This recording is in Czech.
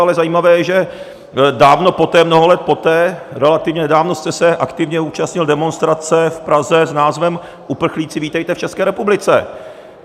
Ale zajímavé je, že dávno poté, mnoho let poté, relativně nedávno, jste se aktivně účastnil demonstrace v Praze s názvem "Uprchlíci, vítejte v České republice!".